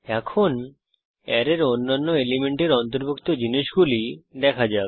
এখন অ্যারের অন্যান্য এলিমেন্টের অন্তর্ভুক্ত জিনিসগুলি দেখা যাক